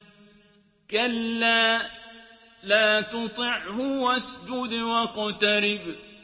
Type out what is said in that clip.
كَلَّا لَا تُطِعْهُ وَاسْجُدْ وَاقْتَرِب ۩